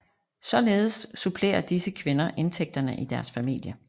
Således supplerer disse kvinder indtægterne i deres familie